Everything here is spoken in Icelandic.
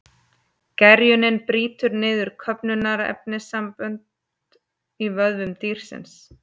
Gerjunin brýtur niður köfnunarefnissambönd í vöðvum dýrsins.